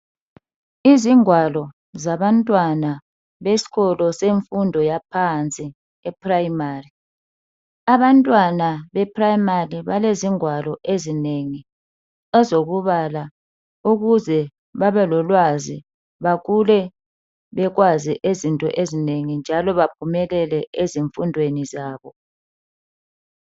Izingwalo zabantwana beskolo semfundo yaphansi eprimary. Abantwana beprimary balezingwalo ezinengi ezokubala ukuze babelolwazi bakhule bekwazi izinto ezinengi njalo baphumelele ezifundweni zabo.